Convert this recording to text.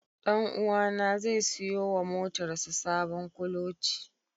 Ɗanuwa na zai siyo wa motar sa sabon kuloci.